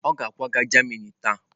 Ọ ga-akwaga Germany taa.